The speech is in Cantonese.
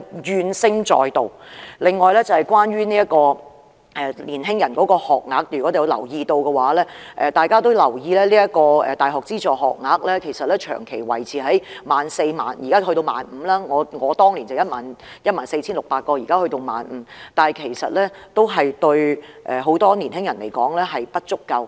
此外，關於年輕人的學額，如果大家有留意，大學資助學額長期維持在約 14,000 個，而我讀大學時是 14,600 個，現在則提升至 15,000 個，但對很多年輕人來說仍然不足夠。